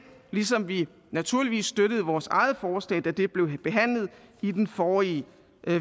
ligesom vi naturligvis støttede vores eget forslag da det blev behandlet i den forrige